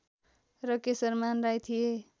र केशरमान राई थिए